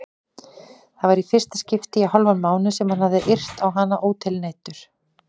Það var í fyrsta skipti í hálfan mánuð sem hann hafði yrt á hana ótilneyddur.